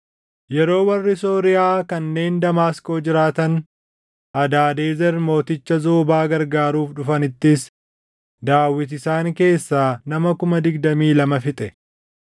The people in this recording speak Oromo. Yeroo warri Sooriyaa kanneen Damaasqoo jiraatan Hadaadezer mooticha Zoobaa gargaaruuf dhufanittis, Daawit isaan keessaa nama kuma digdamii lama fixe.